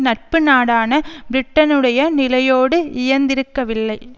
நட்பு நாடான பிரிட்டனுடைய நிலையோடு இயைந்திருக்கவில்லை